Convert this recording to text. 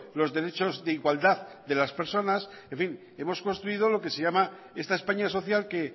los derechos de igualdad de las personas en fin hemos construido lo que se llama esta españa social que